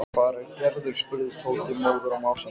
Engum herðablöðum um það að fletta!